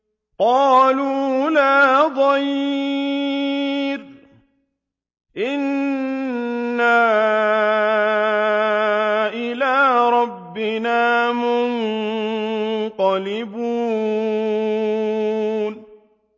قَالُوا لَا ضَيْرَ ۖ إِنَّا إِلَىٰ رَبِّنَا مُنقَلِبُونَ